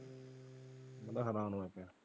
ਮੈਂ ਹੈਰਾਨ .